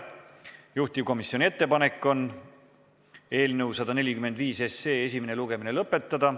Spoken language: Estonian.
Juhtivkomisjoni ettepanek on eelnõu 145 esimene lugemine lõpetada.